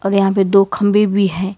और यहां पे दो खंबे भी हैं।